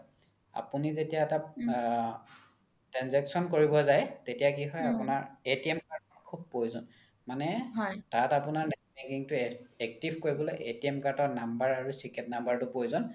আপোনি যেতিয়া এটা আ transaction কৰিব যাই তেতিয়া কি হয় আপোনাৰ user card ৰ শুব প্ৰয়োজ্ন মানে তাত আপোনাৰ net banking তো active কৰিবলৈ card ৰ number আৰু number তো প্ৰয়োজন